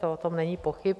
O tom není pochyb.